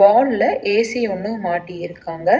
ஹால்ல எ_சி ஒன்னு மாட்டி இருகாங்க.